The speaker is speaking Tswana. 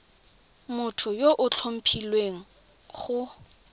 motho yo o tlhophilweng go